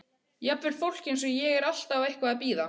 Jafnvel fólk eins og ég er alltaf eitthvað að bíða.